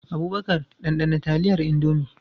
Abubakar, ɗanɗana taliyar Indomie.